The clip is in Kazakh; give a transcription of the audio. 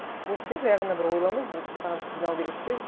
бұл жерде жай ғана бір ойлану бір саған сигнал береді де